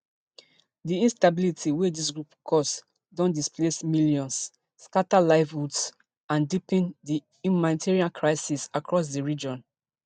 di instability wey dis groups cause don displace millions scata livelihoods and deepen di humanitarian crisis across di region